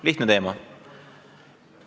Lihtne teema.